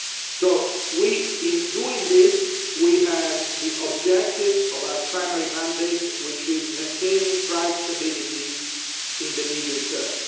So in doing this, we have the objective of our primary mandate, which is maintaining price stability in the medium term.